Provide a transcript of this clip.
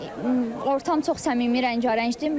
Yəni ortam çox səmimi, rəngarəngdir.